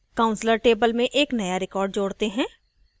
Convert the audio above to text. counselor table में एक नया record जोडते हैं